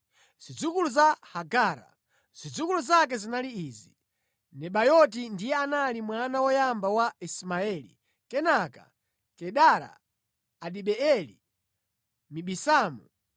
Zidzukulu zake zinali izi: Nebayoti ndiye anali mwana woyamba wa Ismaeli, kenaka Kedara, Adibeeli, Mibisamu,